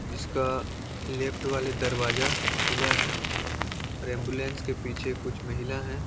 -- जिसका लेफ्ट वाले दरवाजा खुला है और एम्बुलेंस के पीछे कुछ महिला हैं।